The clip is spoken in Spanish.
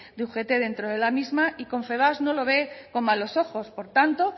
de ugt dentro de la misma y confebask no lo ve con malos ojos por tanto